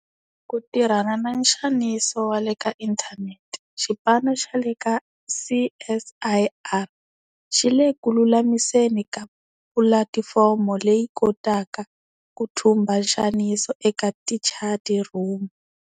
Ku tirhana na nxaniso wa le ka inthanete, xipano xa le ka CSIR xi le ku lulamiseni ka pulatifomo leyi yi kotaka ku thumba nxaniso eka tichatirhumu.